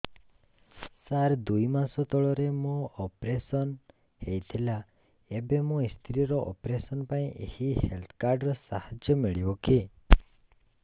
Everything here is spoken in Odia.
ସାର ଦୁଇ ମାସ ତଳରେ ମୋର ଅପେରସନ ହୈ ଥିଲା ଏବେ ମୋ ସ୍ତ୍ରୀ ର ଅପେରସନ ପାଇଁ ଏହି ହେଲ୍ଥ କାର୍ଡ ର ସାହାଯ୍ୟ ମିଳିବ କି